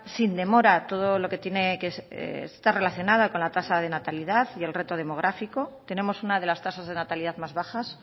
sin demora todo lo que tiene que estar relacionado con la tasa de natalidad y el reto demográfico tenemos una de las tasas de natalidad más bajas